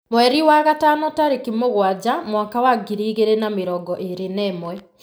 Mweri wa gatano tarĩki mũgwanja mwaka wa ngiri ĩgerĩ na mĩrongo ĩrĩ na ĩmwe.